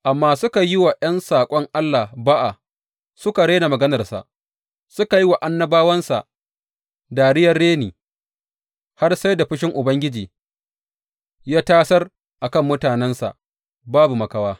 Amma suka yi wa ’yan saƙon Allah ba’a, suka rena maganarsa, suka yi wa annabawansa dariyar reni, har sai da fushin Ubangiji ya tasar a kan mutanensa babu makawa.